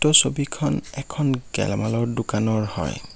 ছবিখন এখন গেলামালৰ দোকানৰ হয়।